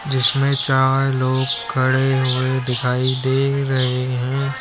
जिसमें चार लोग खड़े हुए दिखाई दे रहे हैं।